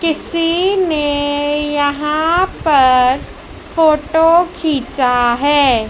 किसी ने यहाँ पर फोटो खींचा है।